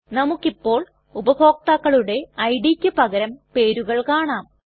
നമുക്കിപ്പോൾ ഉപഭോക്താക്കളുടെ idയ്ക്ക് പകരം പേരുകൾ കാണാം